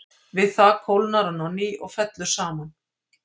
Við það kólnar hann á ný og fellur saman.